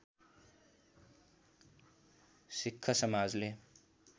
सिक्ख समाजले